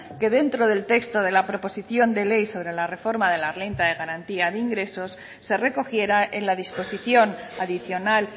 que dentro del texto de la proposición de ley sobre la reforma de la renta de garantía de ingresos se recogiera en la disposición adicional